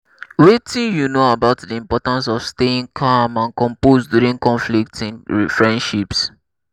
wetin you know about di importance of staying calm and composed during conflicts in friendships?